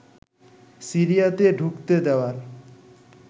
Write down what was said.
সিরিয়াতে ঢুকতে দেওয়ার